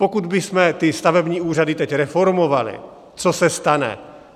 Pokud bychom ty stavební úřady teď reformovali, co se stane?